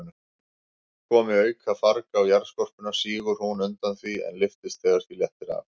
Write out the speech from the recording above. Komi aukafarg á jarðskorpuna, sígur hún undan því, en lyftist þegar því léttir af.